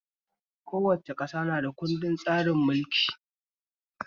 Kowace ƙasa na da kundin tsarin mulkinta